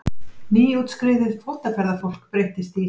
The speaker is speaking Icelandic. Nýútskriðið fótaferðafólk breyttist í